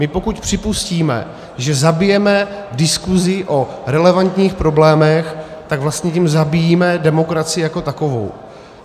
My pokud připustíme, že zabijeme diskuzi o relevantních problémech, tak vlastně tím zabíjíme demokracii jako takovou.